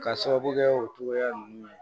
Ka sababu kɛ o togoya ninnu ye